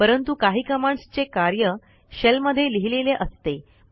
परंतु काही कमांडस् चे कार्य शेल मध्ये लिहिलेले असते